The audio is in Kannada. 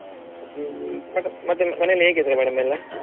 ಮತ್ತೆ ಮತ್ತೆ ಮನೆಯಲ್ಲಿ ಹೇಗಿದ್ದಾರೆ madam ಎಲ್ಲ?